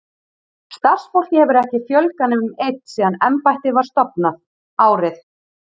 Starfsfólki hefur ekki fjölgað nema um einn síðan embættið var stofnað, árið